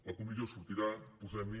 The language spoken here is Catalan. la comissió sortirà posem hi